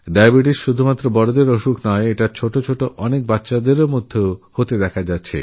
diabetes শুধুমাত্র বড়দের রোগই নয় বহু শিশুও এই অসুখে আক্রান্ত